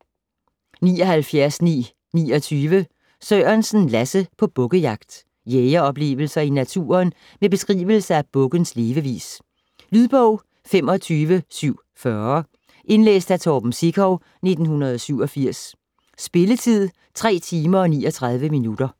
79.929 Sørensen, Lasse: På bukkejagt Jægeroplevelser i naturen og beskrivelse af bukkens levevis. Lydbog 25740 Indlæst af Torben Sekov, 1987. Spilletid: 3 timer, 39 minutter.